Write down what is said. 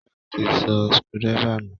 Kọ́lá ti sọ screwdriver nù